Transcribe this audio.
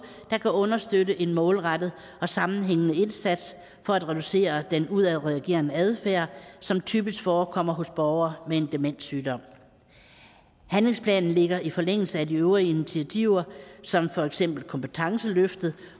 der kan understøtte en målrettet og sammenhængende indsats for at reducere den udadreagerende adfærd som typisk forekommer hos borgere med en demenssygdom handlingsplanen ligger i forlængelse af de øvrige initiativer som for eksempel kompetenceløftet